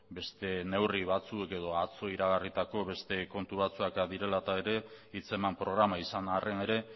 beste neurri batzuk edo atzo iragarritako beste kontu batzuk direla eta ere hitzeman programa izan arren ere